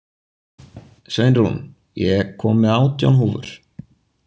Sveinrún, ég kom með átján húfur!